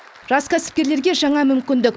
жас кәсіпкерлерге жаңа мүмкіндік